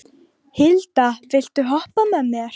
Hilda, viltu hoppa með mér?